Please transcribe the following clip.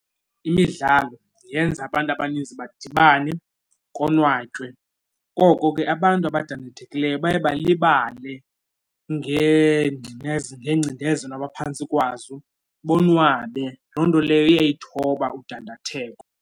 Imidlalo yenza abantu abaninzi badibane, konwatywe. Koko ke abantu abadandathekileyo baye balibale ngeengcindezelo abaphantsi kwazo bonwabe. Loo nto leyo iyayithoba udandatheko.